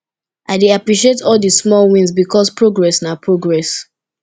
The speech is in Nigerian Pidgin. i dey appreciate all di small wins bikos progress na progress